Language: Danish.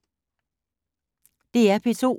DR P2